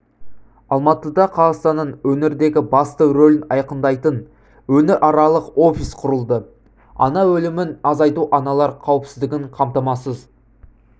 алматыда қазақстанның өңірдегі басты рөлін айқындайтын өңіраралық офис құрылды ана өлімін азайту аналар қауіпсіздігін қамтамасыз